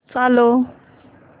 चालव